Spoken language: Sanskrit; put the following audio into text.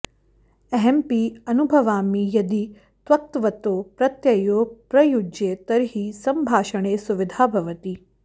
अहमपि अनुभवामि यदि क्तक्तवतौ प्रत्ययौ प्रयुज्ये तर्हि सम्भाषणे सुविधा भवति